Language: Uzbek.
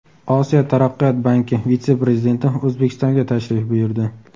Osiyo Taraqqiyot Banki vitse-prezidenti O‘zbekistonga tashrif buyurdi.